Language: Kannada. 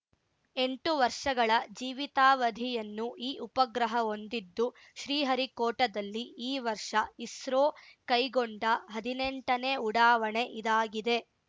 ಎಂಟು ವರ್ಷಗಳ ಜೀವಿತಾವಧಿಯನ್ನು ಈ ಉಪಗ್ರಹ ಹೊಂದಿದ್ದು ಶ್ರೀಹರಿಕೋಟದಲ್ಲಿ ಈ ವರ್ಷ ಇಸ್ರೋ ಕೈಗೊಂಡ ಹದಿನೆಂಟನೇ ಉಡಾವಣೆ ಇದಾಗಿದೆ